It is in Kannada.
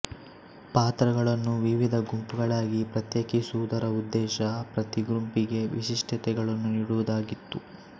ಪಾತ್ರಗಳನ್ನು ವಿವಿಧ ಗುಂಪುಗಳಾಗಿ ಪ್ರತ್ಯೇಕಿಸುವುದರ ಉದ್ದೇಶ ಪ್ರತಿ ಗುಂಪಿಗೆ ವಿಶಿಷ್ಟತೆಗಳನ್ನು ನೀಡುವುದಾಗಿತ್ತು